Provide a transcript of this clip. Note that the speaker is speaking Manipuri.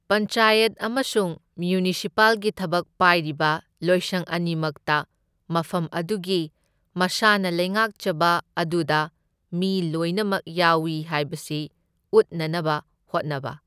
ꯄꯟꯆꯥꯌꯠ ꯑꯃꯁꯨꯡ ꯃ꯭ꯌꯨꯅꯤꯁꯤꯄꯥꯜꯒꯤ ꯊꯕꯛ ꯄꯥꯏꯔꯤꯕ ꯂꯣꯏꯁꯪ ꯑꯅꯤꯃꯛꯇ ꯃꯐꯝ ꯑꯗꯨꯒꯤ ꯃꯁꯥꯅ ꯂꯩꯉꯥꯛꯆꯕ ꯑꯗꯨꯗ ꯃꯤ ꯂꯣꯏꯅꯃꯛ ꯌꯥꯎꯢ ꯍꯥꯏꯕꯁꯤ ꯎꯠꯅꯅꯕ ꯍꯣꯠꯅꯕ꯫.